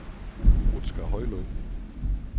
Rutsker Højlyng